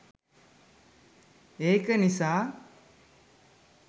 ඒක නිසා